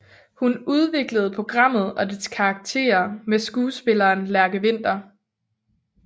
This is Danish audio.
Hun udviklede programmet og dets karakterer med skuespilleren Lærke Winther